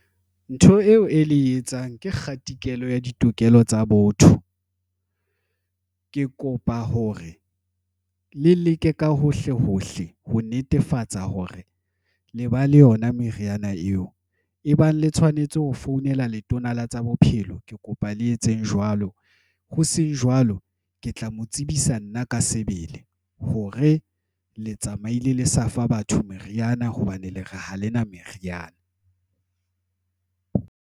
Ntho eo e le etsang ke kgatikela ya ditokelo tsa botho. Ke kopa hore le leke ka hohle hohle ho netefatsa hore le ba le yona meriana eo e bang le tshwanetse ho founela Letona la tsa Bophelo. Ke kopa le etseng jwalo hoseng jwalo, ke tla mo tsebisa nna ka sebele hore le tsamaile le sa fa batho meriana hobane le re ha lena meriana.